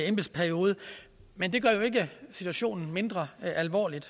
embedsperiode men det gør jo ikke situationen mindre alvorlig